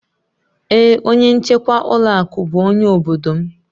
Ee onye nchekwa ụlọ akụ bụ onye obodo m.